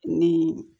Ni